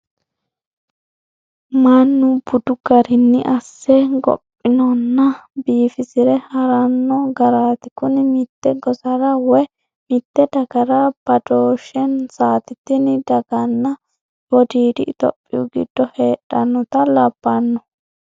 Mannu budu garinni asse gophinonna biifisire harano garati kuni mite gosara woyi mite dagara badhoshensati tini dagano wodiidi itophiyi giddo heedhanotta labbano.